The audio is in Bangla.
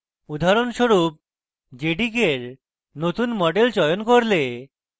উদাহরণস্বরূপ আপনি jdk for নতুন মডেল চয়ন করলে